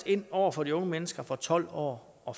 ind over for de unge mennesker fra tolv år og